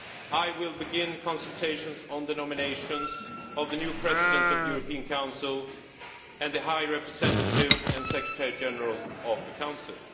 I will begin consultations on the nominations of the new President of the European Council and the High Representative and Secretary General of the Council.